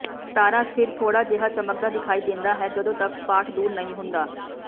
ਤਾਰਾ ਫਿਰ ਥੋੜ੍ਹਾ ਜਿਹਾ ਚਮਕਦਾ ਦਿਖਾਈ ਦਿੰਦਾ ਹੈ ਜਦੋਂ ਤੱਕ ਸਪਾਟ ਦੂਰ ਨਹੀਂ ਹੁੰਦਾ